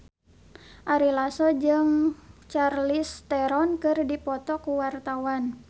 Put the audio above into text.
Ari Lasso jeung Charlize Theron keur dipoto ku wartawan